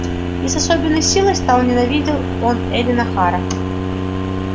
и с особенной силой ненавидел он эллин охара ибо она была олицетворением всего столь ненавистного ему в южанах